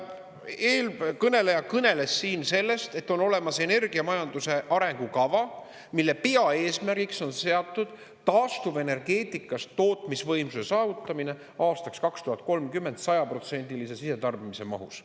Eelkõneleja kõneles siin sellest, et on olemas energiamajanduse arengukava, mille peaeesmärgiks on seatud taastuvenergeetikas tootmisvõimsuse saavutamine aastaks 2030 sajaprotsendilise sisetarbimise mahus.